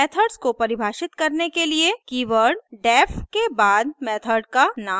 methods को परिभाषित करने के लिए कीवर्ड def के बाद मेथड का नाम लिखें